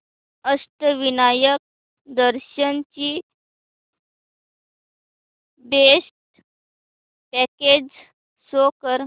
अष्टविनायक दर्शन ची best packages show कर